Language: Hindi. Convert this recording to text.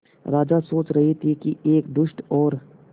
राजा सोच रहे थे कि एक दुष्ट और